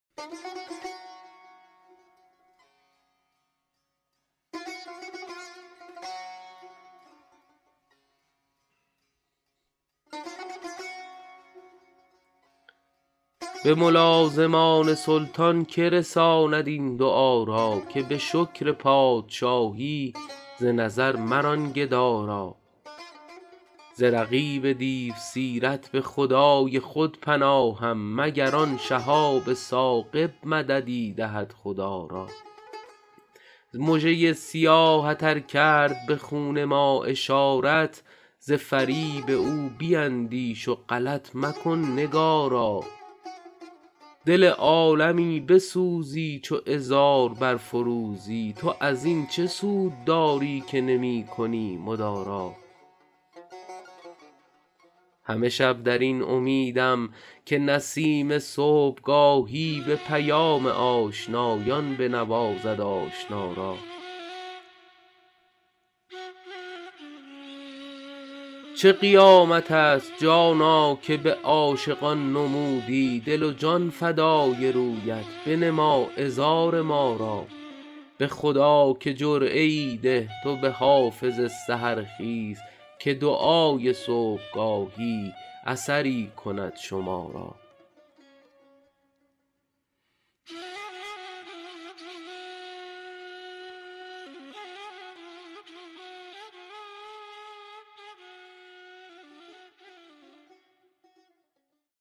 به ملازمان سلطان که رساند این دعا را که به شکر پادشاهی ز نظر مران گدا را ز رقیب دیوسیرت به خدای خود پناهم مگر آن شهاب ثاقب مددی دهد خدا را مژه ی سیاهت ار کرد به خون ما اشارت ز فریب او بیندیش و غلط مکن نگارا دل عالمی بسوزی چو عذار برفروزی تو از این چه سود داری که نمی کنی مدارا همه شب در این امیدم که نسیم صبحگاهی به پیام آشنایان بنوازد آشنا را چه قیامت است جانا که به عاشقان نمودی دل و جان فدای رویت بنما عذار ما را به خدا که جرعه ای ده تو به حافظ سحرخیز که دعای صبحگاهی اثری کند شما را